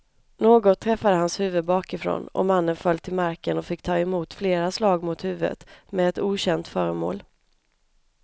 Något träffade hans huvud bakifrån och mannen föll till marken och fick ta emot flera slag mot huvudet med ett okänt föremål.